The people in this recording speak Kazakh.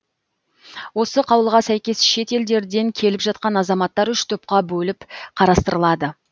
осы қаулыға сәйкес шет елдерден келіп жатқан азаматтар үш топқа бөліп қарастырылады